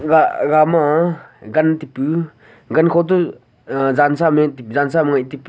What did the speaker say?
a aga ma gan taipu gan kho to aah jansa meh jansa ma ngeh taipu.